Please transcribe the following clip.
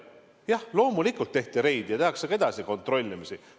Jah, loomulikult tehti reide ja tehakse ka edasi kontrollimisi.